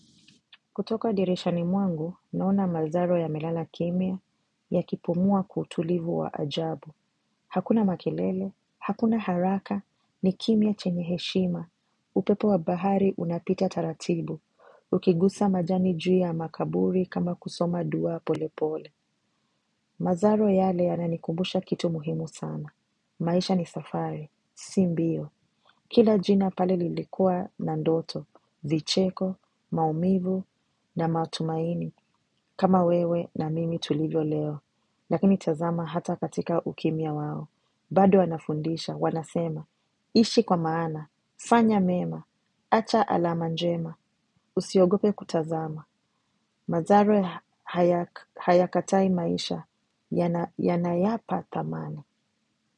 Kutoka dirishani mwangu, naona mazaro yamelala kimya ya kipumua kwa utulivu wa ajabu. Hakuna makelele, hakuna haraka, ni kimya chenyeheshima. Upepo wa bahari unapita taratibu. Ukigusa majani juu ya makaburi kama kusoma dua pole pole. Mazaro yale yanani kumbusha kitu muhimu sana. Maisha ni safari, simbio. Kila jina pale lilikua na ndoto, vicheko, maumivu na matumaini kama wewe na mimi tulivyo leo. Lakini tazama hata katika ukimya wao. Bado wanafundisha, wanasema, ishi kwa maana, fanya mema, acha alama njema, usiogope kutazama. Mazaro hayakatai maisha, yanayapa thamana.